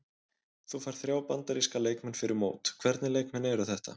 Þú færð þrjá Bandaríska leikmenn fyrir mót, hvernig leikmenn eru þetta?